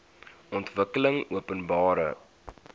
ontwikkelingopenbare